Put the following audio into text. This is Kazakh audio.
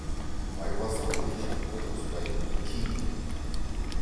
майбасар құлыншақты тоспай киіп кетті